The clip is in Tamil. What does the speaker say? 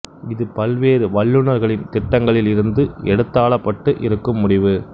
இது பல்வேறு வல்லுநர்களின் திட்டங்களில் இருந்து எடுத்தாளப்பட்டு இருக்கும் முடிவு